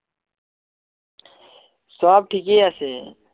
সব ঠিকে আছে